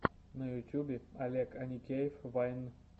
на ютубе олег аникеев вайн